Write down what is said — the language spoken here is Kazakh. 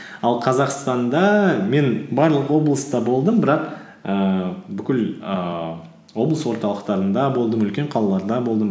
ал қазақстанда мен барлық облыста болдым бірақ ііі бүкіл ііі облыс орталықтарында болдым үлкен қалаларда болдым